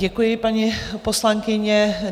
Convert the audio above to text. Děkuji, paní poslankyně.